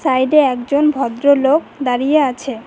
সাইডে একজন ভদ্রলোক দাঁড়িয়ে আছে।